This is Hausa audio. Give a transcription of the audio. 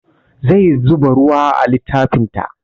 Zai zuba ruwa a littafin ta